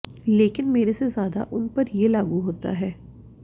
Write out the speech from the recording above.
लेकिन मेरे से ज़्यादा उन पर ये लागू होता है